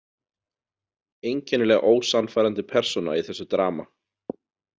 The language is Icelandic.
Einkennilega ósannfærandi persóna í þessu drama.